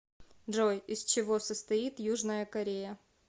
джой из чего состоит южная корея